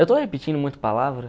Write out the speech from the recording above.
Eu estou repetindo muito palavra?